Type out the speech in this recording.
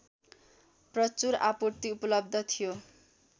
प्रचुर आपूर्ति उपलब्ध थियो